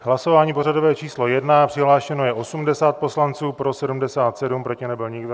Hlasování pořadové číslo 1, přihlášeno je 80 poslanců, pro 77, proti nebyl nikdo.